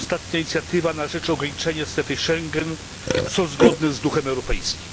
ostatnia inicjatywa na rzecz ograniczenia strefy Schengen, są zgodne z duchem europejskim?